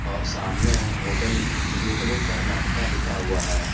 और सामने hotel gateway Karnataka लिखा हुआ है।